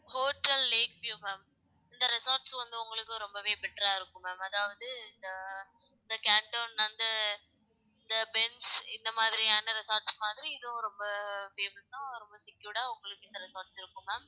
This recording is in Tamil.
ஹோட்டல் லேக் வியுவ் ma'am இந்த resorts வந்து உங்களுக்கும் ரொம்பவே better ஆ இருக்கும் ma'am அதாவது இந்த இந்த இந்த மாதிரியான resorts மாதிரி இதுவும் ரொம்ப famous ஆ ரொம்ப secured ஆ உங்களுக்கு இந்த resorts இருக்கும் ma'am